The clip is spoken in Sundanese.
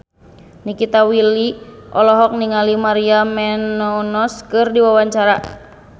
Nikita Willy olohok ningali Maria Menounos keur diwawancara